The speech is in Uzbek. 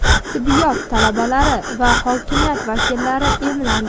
tibbiyot talabalari va hokimiyat vakillari emlandi.